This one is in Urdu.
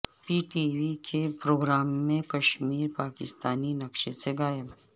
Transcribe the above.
پی ٹی وی کے پروگرام میں کشمیر پاکستانی نقشے سے غائب